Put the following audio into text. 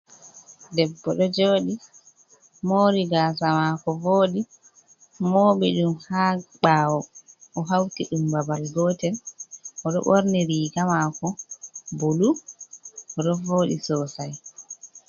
Debbo ɗo jooɗi, moori gasa mako vooɗi, mooɓi ɗum ha ɓawo o hauti ɗum babal gotel oɗo ɓorni riga maako bulu ɗo vooɗi sosai.